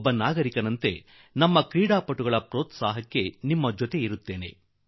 ಒಬ್ಬ ನಾಗರಿಕನಾಗಿ ನಮ್ಮ ಈ ಕ್ರೀಡಾಪಟುಗಳ ಉತ್ಸಾಹ ಹೆಚ್ಚಿಸುವುದರಲ್ಲಿ ನಾನೂ ನಿಮ್ಮೊಡನಿರುವೆ